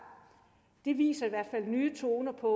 det viser i hvert fald nye toner og